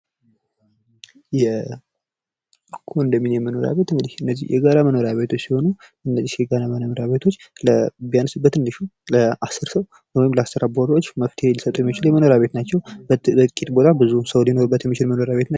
የኮንዶሚኒየም መኖርያ ቤት እንግዲህ የጋራ መኖሪያ ቤቶች ሲሆኑ እነዚህ የጋራ መኖሪያ የቤቶች ቢያንስ በትንሹ ለ 10 ሰው ወይ ለስራ አባወራዎች መፍትሔ ሊሰጡ የሚችሉ የመኖሪያ ቤቶች ናቸው። በጥቂት ቦታ ብዙ ሰው ሊኖር የሚችልበት መኖሪያ ቤት ነው።